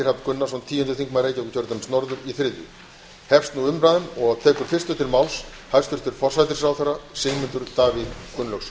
gunnarsson tíundi þingmaður reykjavíkurkjördæmis norður í þriðju umferð hefst nú umræðan og tekur fyrstur til máls hæstvirtur forsætisráðherra sigmundur davíð gunnlaugsson